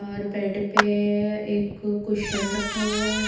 और बेड पे एक कुशन रखा हुआ है।